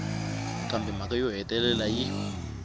kambe mhaka yo hetelela yi